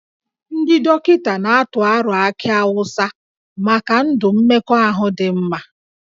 Ndị dọkịta na-atụ aro akị awụsa maka ndụ mmekọahụ dị mma